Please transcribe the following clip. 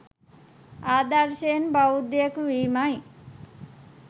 ආදර්ශයෙන් බෞද්ධයෙක් වීමයි.